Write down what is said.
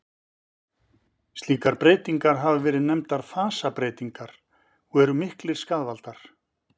Slíkar breytingar hafa verið nefndar fasabreytingar og eru miklir skaðvaldar.